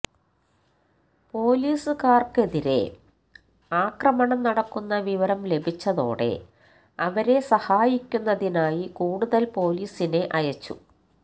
പൊലീസുകാര്ക്കെതിരെ ആക്രമണം നടക്കുന്ന വിവരം ലഭിച്ചതോടെ അവരെ സഹായിക്കുന്നതിനായി കൂടുതല് പൊലീസിനെ അയച്ചു